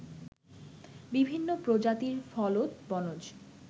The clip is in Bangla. বিভিন্ন প্রজাতির ফলদ, বনজ